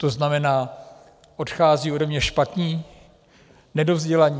To znamená, odcházejí ode mne špatní, nedovzdělaní?